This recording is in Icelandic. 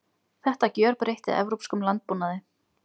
Þetta gjörbreytti evrópskum landbúnaði.